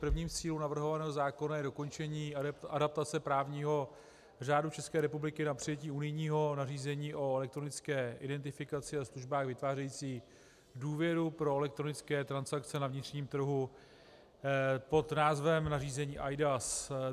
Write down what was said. Prvním cílem navrhovaného zákona je dokončení adaptace právního řádu České republiky na přijetí unijního nařízení o elektronické identifikaci a službách vytvářejících důvěru pro elektronické transakce na vnitřním trhu pod názvem nařízení eIDAS.